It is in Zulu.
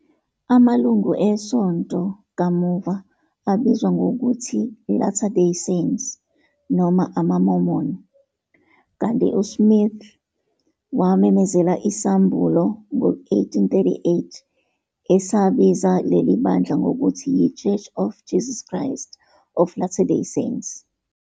Amalungu esonto kamuva abizwa ngokuthi "Latter Day Saints" noma "amaMormon", kanti uSmith wamemezela isambulo ngo-1838 esabiza leli bandla ngokuthi yiChurch of Jesus Christ of Latter Day Saints